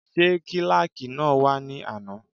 Ṣé kílàkì náà wá ní àná?